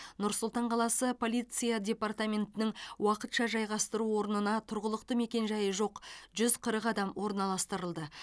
нұр сұлтан қаласы полиция департаментінің уақытша жайғастыру орнына тұрғылықты мекенжайы жоқ жүз қырық адам орналастырылды